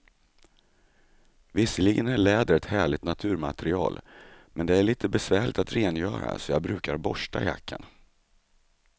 Visserligen är läder ett härligt naturmaterial, men det är lite besvärligt att rengöra, så jag brukar borsta jackan.